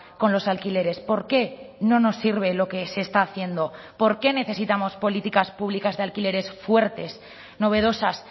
con los alquileres por qué no nos sirve lo que se está haciendo por qué necesitamos políticas públicas de alquileres fuertes novedosas